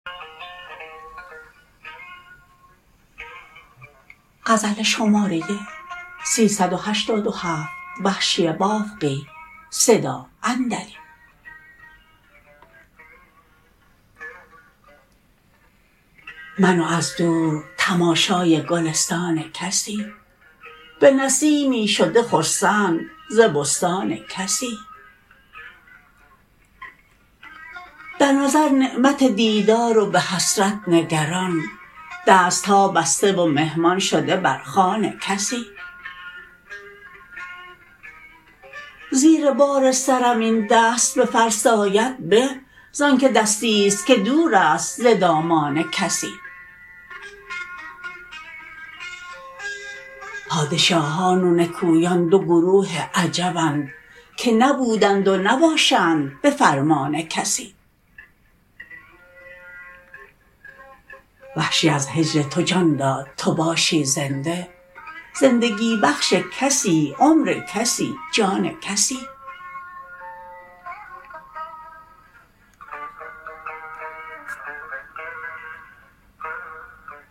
من و از دور تماشای گلستان کسی به نسیمی شده خرسند ز بستان کسی در نظر نعمت دیدار و به حسرت نگران دستها بسته و مهمان شده برخوان کسی زیر بار سرم این دست بفرساید به ز آنکه دستی ست که دور است ز دامان کسی پادشاهان و نکویان دو گروه عجبند که نبودند و نباشند به فرمان کسی وحشی از هجر تو جان داد تو باشی زنده زندگی بخش کسی عمر کسی جان کسی